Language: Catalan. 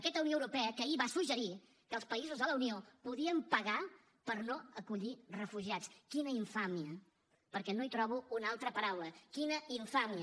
aquesta unió europea que ahir va suggerir que els països de la unió podien pagar per no acollir refugiats quina infàmia perquè no hi trobo una altra paraula quina infàmia